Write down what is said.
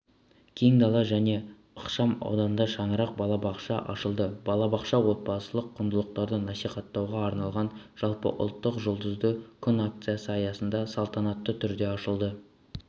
кең дала жаңа ықшам ауданында шаңырақ балабақшасы ашылды балабақша отбасылық құндылықтарды насихаттауға арналған жалпыұлттық жұлдызды күн акциясы аясында салтанатты түрде ашылды